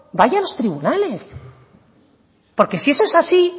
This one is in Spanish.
vaya a los tribunales porque si eso es así